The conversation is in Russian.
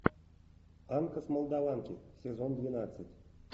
анка с молдованки сезон двенадцать